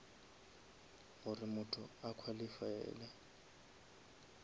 gore motho a qualifaele